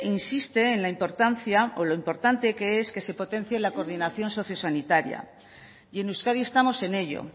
insiste en la importancia o lo importante que es que se potencie la coordinación sociosanitaria y en euskadi estamos en ello